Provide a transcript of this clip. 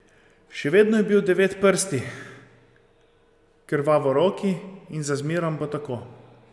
Še vedno je bil Devetprsti, Krvavoroki, in za zmerom bo tako.